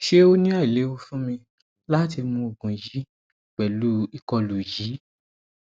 ṣe o ni ailewu fun mi lati mu oogun yii pẹlu ikolu yii